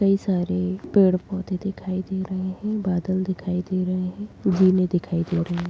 कई सारे पेड़ पौधे दिखाई दे रहे हैं बादल दिखाई दे रहे हैं जीने दिखाई दे रहे हैं।